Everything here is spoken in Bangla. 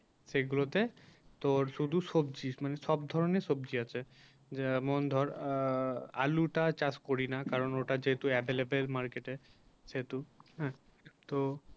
সেগুলো তো তোর শুধু সবজি মানে সব ধরনের সবজি আছে যেমন ধর আ আ আলোটা চাষ করি না কারণ ওটা যেহেতু available market সেহেতু হ্যাঁ তো